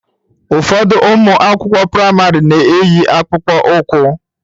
Ụfọdụ ụmụ akwụkwọ praịmarị na-eyi akpụkpọ ụkwụ